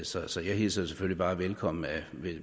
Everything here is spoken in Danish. så så jeg hilser det selvfølgelig bare velkommen